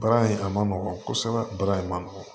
Baara in a ma nɔgɔn kosɛbɛ baara in ma nɔgɔn